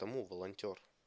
кому волонтёр